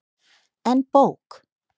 En bók?